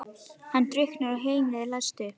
Hann drukknar og heimilið er leyst upp.